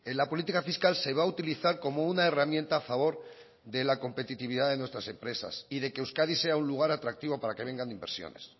la política fiscal se va a utilizar como una herramienta a favor de la competitividad de nuestras empresas y de que euskadi sea un lugar atractivo para que vengan inversores